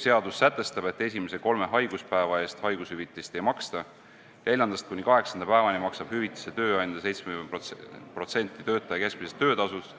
Seadus sätestab, et esimese kolme haiguspäeva eest haigushüvitist ei maksta, neljandast kuni kaheksanda päevani maksab hüvitise tööandja 70% töötaja keskmisest töötasust